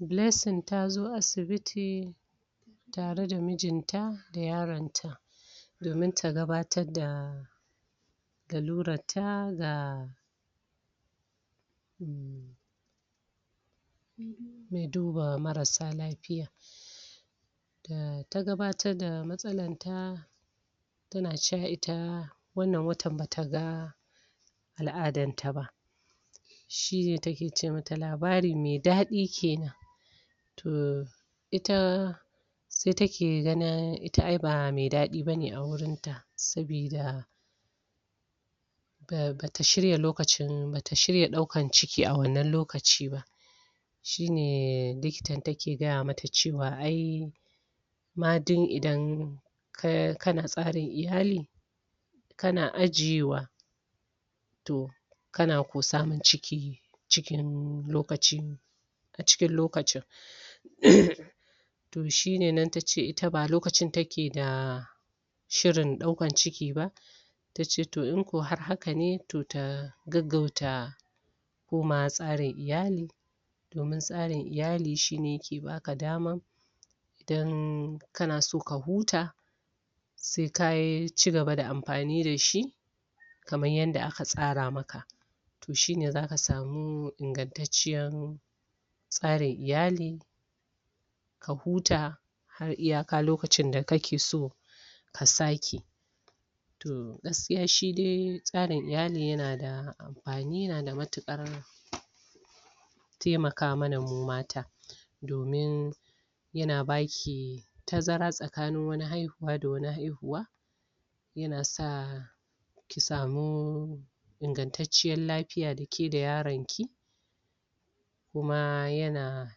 blessing tazo asibiti tare da mijin ta da yaron ta domin ta gabatar da lalurar ta ga mai duba marasa lafiya da ta gabatar da matsalar ta tana cewa ita wannan watan bata aga al'adar ta ba shine take ce mata labari mai dadi kenan to ita sai take ganin ita ba mai dadi bane a wurin ta sabida da bata shirya daukan ciki a wannan lokaci ba shine likitan take gaya mata cewa ai ma duk idan kana tsarin iyali kana ajiyewa to kana ko samun ciki, cikin lokaci a cikin lokacin? to shine nan tace ita ba lokacin take da shirin daukan ciki ba tace to in kau har hakane to ta gaggauta komawa tsarin iyali domin tsarin iyali shine yake baka dama idan kana so ka huta sai ka cigaba da amfani da shi kamar yadda aka tsara maka to shine zaka samu ingatacciyar tsarin iyali ka huta har iyaka lokacin da kake so ka sake to gaskiya shi dai tsarin iyali yana da amfani yana da matukar taimaka mana mu mata domin yana baki tazara tsakanin wani haihuwa da wani haihuwa yana sa ki samu ingatacciyar lafiya dake da yaroki kuma yana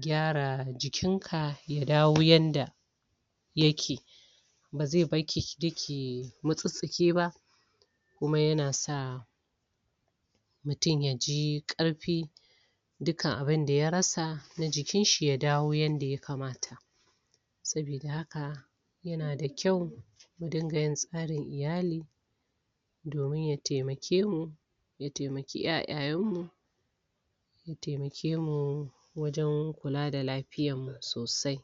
kyara jikin ka ya dawo yadda yake bazai barki duk ku mutsutsuke ba kuma yana sa mutum yaji karfi dukan abinda ya rasa na jikin shi ya dawo yadda ya kamata sabida haka yana da kyau mu dinga yin tsarin iyali domin ya taimake mu ya taimaki yayayen mu kuma ya taimake mu wajen kula da lafiyar mu sosai